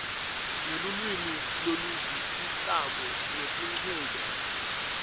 ngelulwimi loluvisisako ngetinchubo